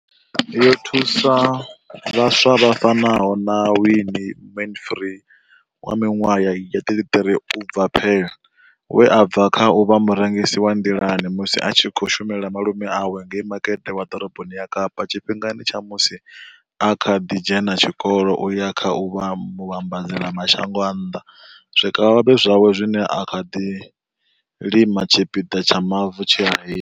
Yo thusa vhaswa vha fanaho na Wayne Mansfield, 33, u bva Paarl, we a bva kha u vha murengisi wa nḓilani musi a tshi khou shumela malume awe ngei makete wa ḓoroboni ya Kapa tshifhingani tsha musi a kha ḓi dzhena tshikolo u ya kha u vha muvhambadzela mashango a nnḓa zwikavhavhe zwawe zwine a zwi lima kha tshipiḓa tsha mavu tshe a hira.